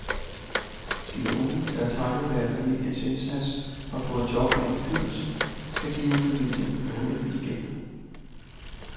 De unge, der takket være familiens indsats har fået job og indflydelse, skal give familien noget igen.